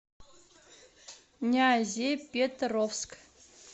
нязепетровск